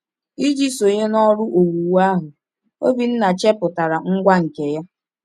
Iji sonye n’ọrụ owuwu ahụ, Obinna chepụtara ngwa nke ya.